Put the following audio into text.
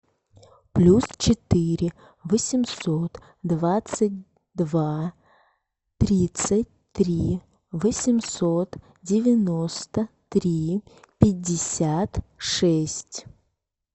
плюс четыре восемьсот двадцать два тридцать три восемьсот девяносто три пятьдесят шесть